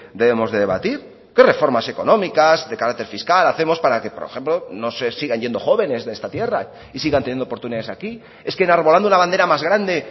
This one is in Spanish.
debemos de debatir qué reformas económicas de carácter fiscal hacemos para que por ejemplo no sé sigan yendo jóvenes de esta tierra y sigan teniendo oportunidades aquí es que enarbolando una bandera más grande